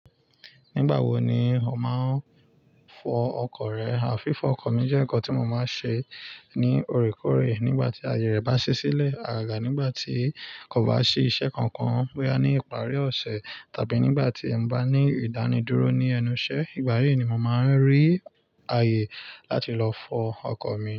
Nígbà wo ni o máa ń fọ ọkọ̀ rẹ? Àfífọ ọkọ̀ mi jẹ́ nǹkan tí mo máa ṣe ní òrékòrè nígbà tí àyè rẹ̀ bá ṣí sílẹ̀. Àgàgà nígbà tí kò bá ṣí iṣẹ́ kankan, bóyá ní ìparí ọ̀sẹ̀ tàbí nígbà tí mo bá ní ìdánidúró ní ẹnu iṣẹ́. Ìgbà yí ni mo màá rí àyè láti lọ fọ ọkọ̀ mi.